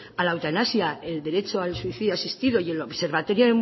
a la eutanasia el derecho al suicidio asistido y el observatorio